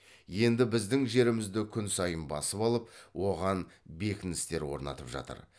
енді біздің жерімізді күн сайын басып алып оған бекіністер орнатып жатыр